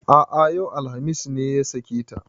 A'a yau, alhamis ne ya sake ta